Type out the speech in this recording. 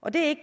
og det